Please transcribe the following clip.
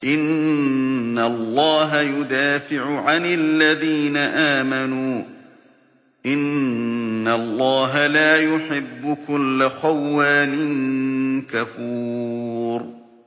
۞ إِنَّ اللَّهَ يُدَافِعُ عَنِ الَّذِينَ آمَنُوا ۗ إِنَّ اللَّهَ لَا يُحِبُّ كُلَّ خَوَّانٍ كَفُورٍ